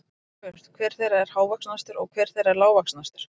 Nú er spurt, hver þeirra er hávaxnastur og hver þeirra er lágvaxnastur?